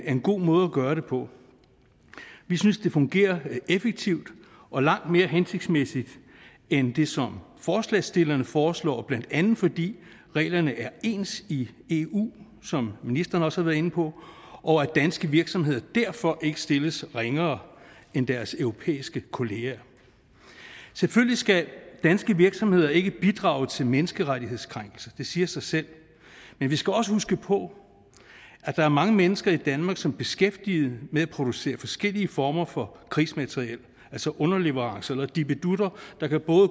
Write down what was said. en god måde gøre det på vi synes det fungerer effektivt og langt mere hensigtsmæssigt end det som forslagsstillerne foreslår blandt andet fordi reglerne er ens i eu som ministeren også har været inde på og at danske virksomheder derfor ikke stilles ringere end deres europæiske kolleger selvfølgelig skal danske virksomheder ikke bidrage til menneskerettighedskrænkelser det siger sig selv men vi skal også huske på at der er mange mennesker i danmark som er beskæftiget med at producere forskellige former for krigsmateriel altså underleverancer eller dippedutter der kan